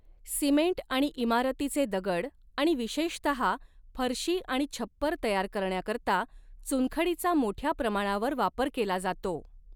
Cement आणि इमारतीचे दगड आणि विशेषतः फरशी आणि छप्पर तयार करण्याकरता चुनखडीचा मोठ्या प्रमाणावर वापर केला जातो.